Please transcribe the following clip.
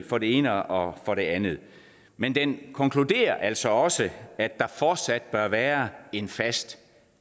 for det ene og for det andet men den konkluderer altså også at der fortsat bør være en fast